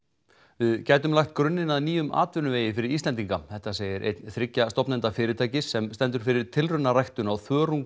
við gætum lagt grunninn að nýjum atvinnuvegi fyrir Íslendinga þetta segir einn þriggja stofnenda fyrirtækis sem stendur fyrir tilraunaræktun á